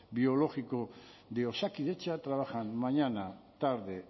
biológico de osakidetza trabajan mañana tarde